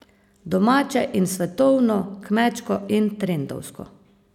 Domače in svetovno, kmečko in trendovsko.